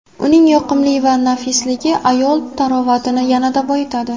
Uning yoqimli va nafisligi ayol tarovatini yanada boyitadi.